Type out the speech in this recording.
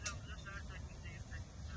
Neyləyirəm qardaş, saat 8-də, 8-də.